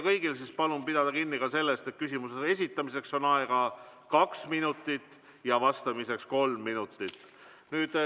Kõigil palun pidada kinni sellest, et küsimuse esitamiseks on aega kaks minutit, vastamiseks kolm minutit.